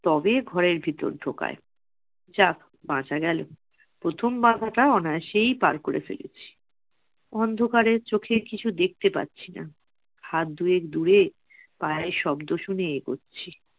তবেই ঘরের ভিতর ঢোকায়। যাক, বাঁচা গেলো প্রথম বাধাটা অনায়াসেই পার করে ফেলেছি। অন্ধকারে চোখে কিছু দেখতে পাচ্ছি না। হাত দুয়েক দূরে পায়ের শব্দ শুনে এগোচ্ছি।